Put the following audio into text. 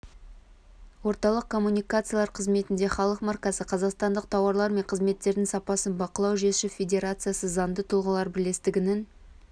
орталық коммуникациялар қызметінде халық маркасы қазақстандық тауарлар мен қызметтердің сапасын бақылау жүйесі федерациясы заңды тұлғалар бірлестігінің